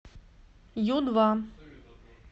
ю два